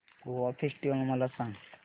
Goa festival मला सांग